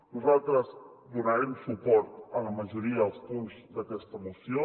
nosaltres donarem suport a la majoria dels punts d’aquesta moció